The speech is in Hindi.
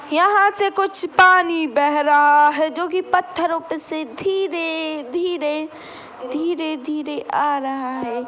यहाँ से कुछ पानी बह रहा है जो कि पत्थरो से धीरे-धीरे धीरे-धीरे आ रहा है।